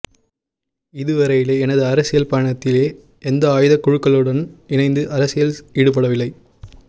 இதுவரையிலே எனது அரசியல் பயணத்திலே எந்த ஆயுதக்குழுக்களுடன் இணைந்து அரசியலில் ஈடுபடவில்லை